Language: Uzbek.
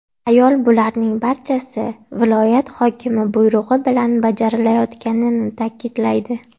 Ayol bularning barchasi viloyat hokimi buyrug‘i bilan bajarilayotganini ta’kidlaydi.